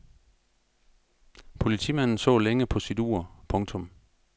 Politimanden så længe på sit ur. punktum